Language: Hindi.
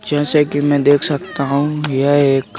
जैसे कि मैं देख सकता हूं यह एक--